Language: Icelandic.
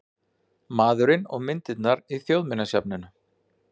Maðurinn og myndirnar í Þjóðminjasafni